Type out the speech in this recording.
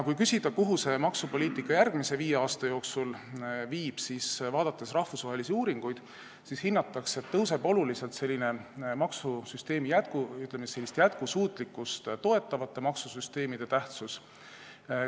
Kui küsida, kuhu maksupoliitika järgmise viie aasta jooksul viib, siis rahvusvahelisi uuringuid vaadates saab hinnata, et oluliselt suureneb jätkusuutlikkust toetavate maksusüsteemide tähtsus.